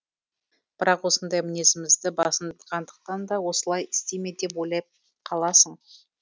бірақ осындай мінезімізді басынғандықтан да осылай істей ме деп ойлап қаласың